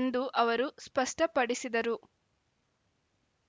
ಎಂದು ಅವರು ಸ್ಪಷ್ಟಪಡಿಸಿದರು